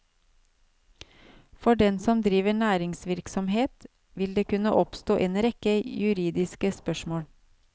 For den som driver næringsvirksomhet, vil det kunne oppstå en rekke juridiske spørsmål.